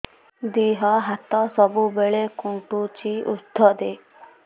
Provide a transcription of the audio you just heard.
ଦିହ ହାତ ସବୁବେଳେ କୁଣ୍ଡୁଚି ଉଷ୍ଧ ଦେ